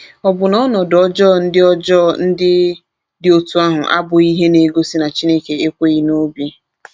Ọbụna ọnọdụ ọjọọ ndị ọjọọ ndị dị otú ahụ abụghị ihe na-egosi na Chineke ekweghị n’obi.